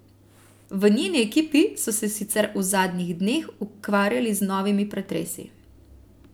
V njeni ekipi so se sicer v zadnjih dneh ukvarjali z novimi pretresi.